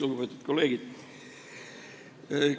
Lugupeetud kolleegid!